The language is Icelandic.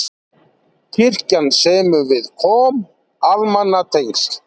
Kirkjan semur við KOM almannatengsl